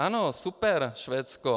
Ano, super, Švédsko.